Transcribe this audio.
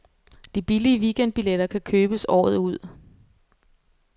De billige weekendbilletter kan købes året ud.